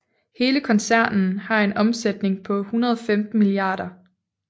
Hele koncernen har en omsætning på 115 mia